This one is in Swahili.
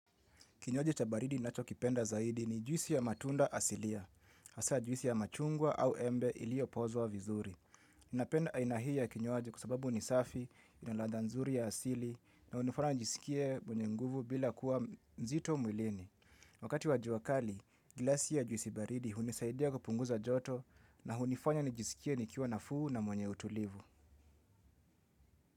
Kinywaji cha baridi ninachokipenda zaidi ni juisi ya matunda asilia. Hasa juisi ya machungwa au embe ilio pozwa vizuri. Ninapenda aina hii kinywaji kwa sababu ni safi, ina ladha nzuri ya asili, na hunifanya nijisikie mwenye nguvu bila kuwa mzito mwilini. Wakati wa jua kali, glasi ya juisi baridi hunisaidia kupunguza joto na hunifanya nijiskie nikiwa nafuu na mwenye utulivu.